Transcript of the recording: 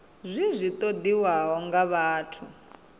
zwi zwi ṱoḓiwaho nga vhathu